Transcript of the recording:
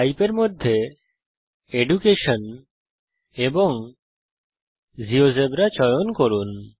Type এর মধ্যে education এবং জিওজেবরা চয়ন করুন